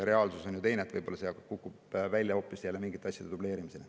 Reaalsus on teine, võib-olla see kukub välja hoopis mingite asjade dubleerimisena.